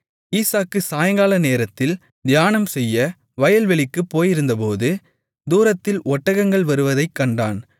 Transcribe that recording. ஈசாக்கு சாயங்காலநேரத்தில் தியானம்செய்ய வயல்வெளிக்குப் போயிருந்தபோது தூரத்தில் ஒட்டகங்கள் வருவதைக்கண்டான்